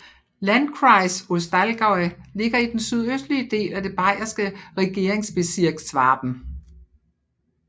Landkreis Ostallgäu ligger i den sydøstlige del af det bayerske Regierungsbezirk Schwaben